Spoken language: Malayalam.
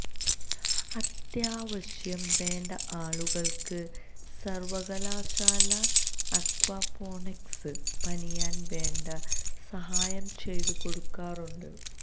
അത്യാവശ്യം വേണ്ട ആളുകള്ക്ക് സര്വകലാശാല അക്വാപോണിക്സ് പണിയാന് വേണ്ട സഹായം ചെയ്തു കൊടുക്കാറുണ്ട്